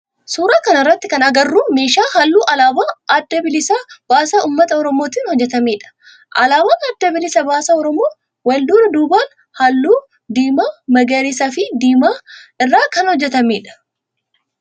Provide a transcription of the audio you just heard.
Suuraa kana irratti kan agarru meeshaa halluu alaabaa adda bilisa baasaa ummata oromootin hojjetamedha. Alaabaan adda bilisa baasaa oromoo wal duraa duuban halluu diimaa, magariisa fi diimaa irraa kan hojjetamedha.